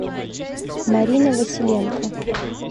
марина василенко